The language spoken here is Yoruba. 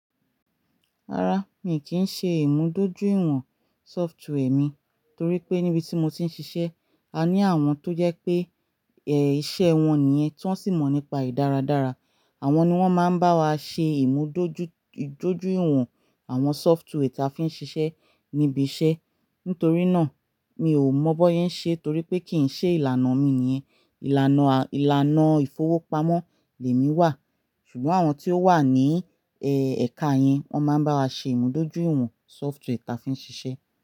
Rárá, mi kì í ṣe ìmúdójúìwọ̀n software mi, torí pé níbi tí mo ti ń ṣiṣẹ́, a ní àwọn tó jẹ pé ẹ̀ ìṣe wọn nìyẹn, tí wọ́n sì mọ̀ nípa ì dáradára. Àwọn ni wọ́n máa ń bá wa ṣe ìmúdójúìwọ̀n àwọn software ta fi ń ṣiṣẹ́ níbi iṣẹ́. Nítorí náà, mi ò mọ̀ bón sẹ́ ń ṣe torí pé kì í ṣe ìlànà mi nìyẹn. Ìlànà, ìlànà ìfowópamọ́ lèmi wà, ṣùgbọ́n àwọn tí ó wà ní ẹ ẹ̀ka yẹn, wọ́n máa ń bá wa ṣe ìmúdójúìwọ̀n software ta fi ń ṣiṣẹ́.